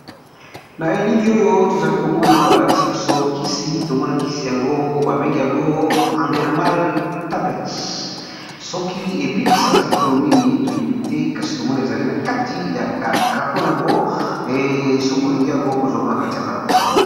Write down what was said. na elili oyo tozali komona balakisi biso kisi tomona kisi yango babengi yango andermal tablet soki ebikisaka bokono nini toyebi te kasi tomone ezali na kati ya carton yango esoki olingi yango kozwa ngo na kati ya pharmacie